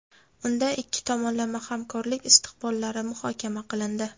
Unda ikki tomonlama hamkorlik istiqbollari muhokama qilindi.